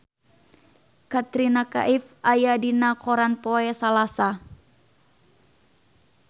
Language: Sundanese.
Katrina Kaif aya dina koran poe Salasa